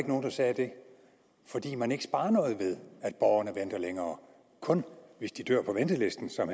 nogen der sagde det fordi man ikke sparer noget ved at borgerne venter længere kun hvis de dør på ventelisten som